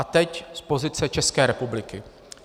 A teď z pozice České republiky.